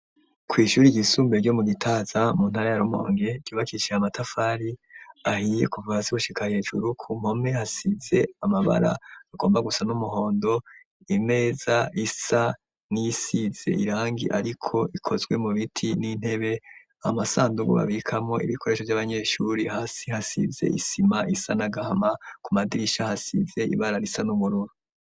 Ku ishure ryisumbuye ryo mu Gitaza mu ntara ya Rumonge ryubakishije amatafari ahiye kuva hasi gushika hejuru ku mpome hasize amabara agomba gusa n'umuhondo, imeza isa niyisize irangi ariko ikozwe mu biti, n'intebe, amasandugu babikamwo ibikoresho vy'abanyeshure, hasi hasize isima isa n'agahama ku madirisha hasize ibara risa n'ubururu.